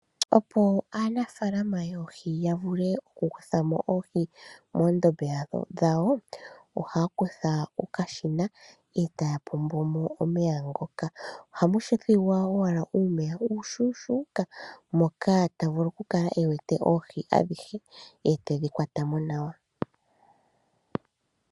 Opo aanafalama yoohi ya vule okukutha mo oohi moondombe dhawo ohaa kutha okashina e taya pombo mo omeya ngoka. Ohamu thigwa owala uumeya uushuushuuka moka tawu vulu okukala e wete oohi adhihe e tedhi kwata mo nawa.